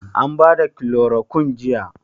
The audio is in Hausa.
An bada kilorokun jiya?